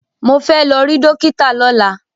Mo fẹ́ lọ rí dọ́kítà lọ́la.